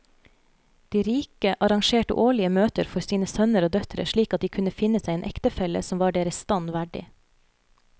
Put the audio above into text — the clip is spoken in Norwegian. De rike arrangerte årlige møter for sine sønner og døtre slik at de kunne finne seg en ektefelle som var deres stand verdig.